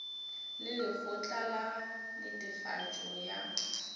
le lekgotla la netefatšo ya